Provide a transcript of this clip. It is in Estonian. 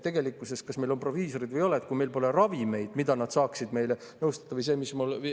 Tegelikkuses, kas meil proviisoreid on või ei ole, meil pole ravimeid, mille kasutamisel nad saaksid meid nõustada.